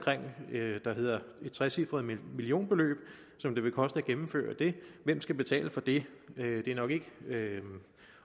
et trecifret millionbeløb som det vil koste at gennemføre det hvem skal betale for det det er nok ikke